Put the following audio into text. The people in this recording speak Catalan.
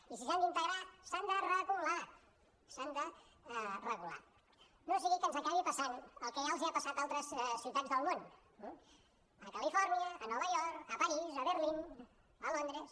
i si s’han d’integrar s’han de regular s’han de regular no sigui que ens acabi passant el que ja els ha passat a altres ciutats del món a califòrnia a nova york a parís a berlín a londres